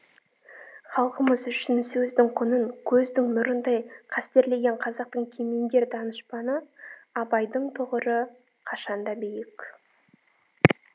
халқымыз үшін сөздің құнын көздің нұрындай қастерлеген қазақтың кемеңгер данышпаны абайдың тұғыры қашанда биік